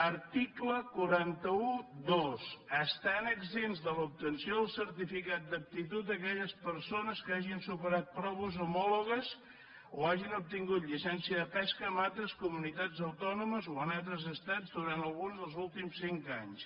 article quatre cents i dotze estan exempts de l’obtenció del certificat d’aptitud aquelles persones que hagin superat proves homòlogues o hagin obtingut llicència de pesca en altres comunitats autònomes o en altres estats durant algun dels últims cinc anys